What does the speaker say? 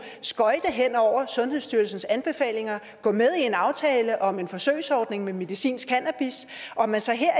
skøjte hen over sundhedsstyrelsens anbefalinger gå med i en aftale om en forsøgsordning med medicinsk cannabis og at man så her